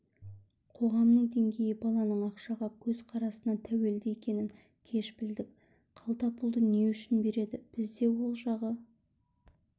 қоғамның деңгейі баланың ақшаға көзқарасына тәуелді екенін кеш білдік қалтапұлды не үшін береді бізде ол жағы